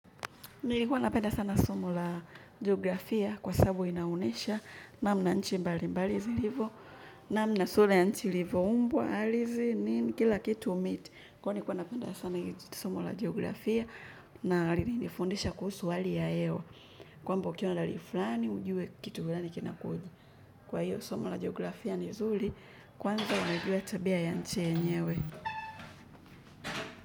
Nilikuwa napenda sana somo la geografia kwa sababu inaunyesha namna nchi mbali mbali zilivo namna sura ya nchi ilivoumbwa halisi nini kila kitu miti kwani nilikuwa napenda sana somo la geografia na alinifundisha kuhusu hali ya hewa kwamba ukiwa na hali fulani ujue kitu fulani kinakuja kwa hiyo somo la geografia ni zuri kwanza ujue tabia ya nchi yenyewe.